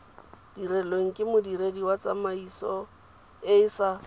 dirilweng ke modiredi wa tsamaisoeesa